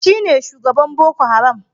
Shi ne shugaban Boko Haram.